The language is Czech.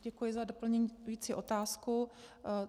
Děkuji za doplňující otázku.